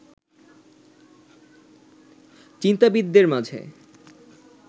চিন্তাবিদদের মাঝে